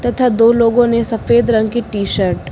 तथा दो लोगों ने सफेद रंग की टी शर्ट --